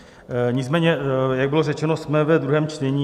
Nicméně jak bylo řečeno, jsme ve druhém čtení.